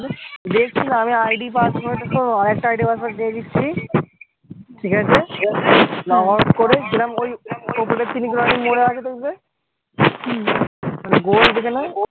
দেকছি না আমি id password আরকটা id password দিয়ে দিচ্ছি ঠিক আছে লগ আউট করে গোল যেখানে